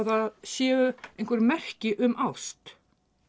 það séu einhver merki um ást